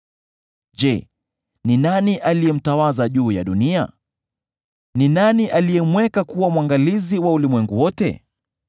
Je, ni nani aliyemtawaza juu ya dunia? Ni nani aliyemweka kuwa mwangalizi wa ulimwengu wote?